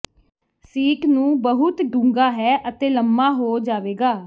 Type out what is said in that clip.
seat ਨੂੰ ਬਹੁਤ ਡੂੰਘਾ ਹੈ ਅਤੇ ਲੰਮਾ ਹੋ ਜਾਵੇਗਾ